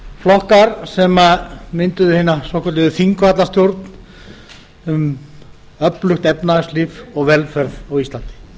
flokkar sem mynduðu hina svokölluðu þingvallastjórn um öflugt efnahagslíf og velferð á íslandi